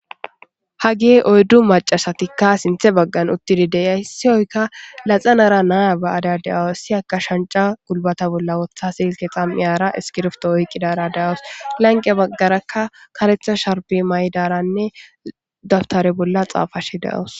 Haagey oyddu maccashatika sinththe baggan uttidi deiya issoykka laxxanara na'a ba'ada da'awusu issiniyaka shancca gulbbate bolla woththada silkke xam'iyara iskirptto oqqiyara dawusu lanqqe baggaraka kareththa sharbbe mayidaranne dabtare bolla xafashe de'awusu.